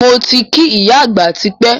Moti kí ìyá àgbà tipẹ́